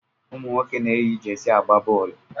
Ụmụnwoke na- eyi jeersey agba boolu.